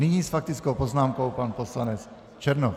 Nyní s faktickou poznámkou pan poslanec Černoch.